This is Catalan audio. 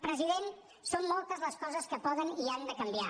president són moltes les coses que poden i han de canviar